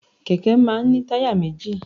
Kẹ̀kẹ́ máà ń ní táyà méjì.